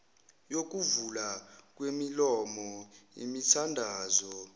yokuvulwa kwemilomo imithandazo